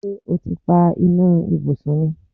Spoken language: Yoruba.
Ṣé́ o ti pa iná ibùsùn ni?